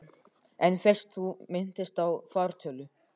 En fyrst þú minntist á fartölvu.